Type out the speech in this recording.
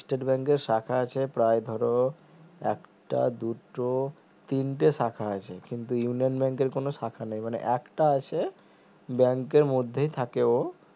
state bank এর শাখা আছে প্রায় ধরো একটা দুটো তিনটে শাখা আছে কিন্তু ইউনিয়ান bank এর কোনো শাখা নেই মানে একটা আছে bank এর মধ্যেই থাকে ও